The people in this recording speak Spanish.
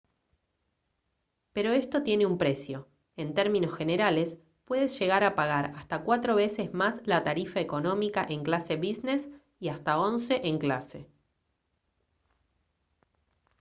pero esto tiene un precio en términos generales puedes llegar a pagar hasta cuatro veces más la tarifa económica en clase business y hasta once en clase